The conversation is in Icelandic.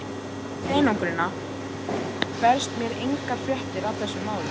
Hingað í einangrunina berast mér engar fréttir af þessum málum.